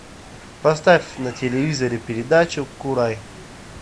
поставь на телевизоре передачу курай